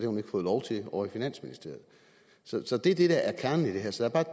hun ikke fået lov til ovre i finansministeriet så så det er det der er kernen i det her så der